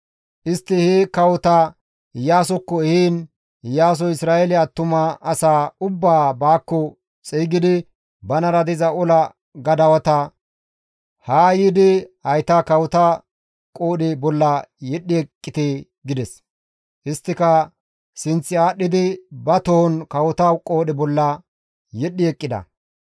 Istti he kawota Iyaasokko ehiin Iyaasoy Isra7eele attuma asaa ubbaa baakko xeygidi banara diza ola gadawata, «Haa yiidi hayta kawota qoodhe bolla yedhdhi eqqite» gides. Isttika sinth aadhdhidi ba tohon kawota qoodhe bolla yedhdhi eqqida.